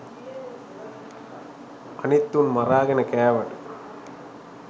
අනිත් උන් මරාගෙන කෑවට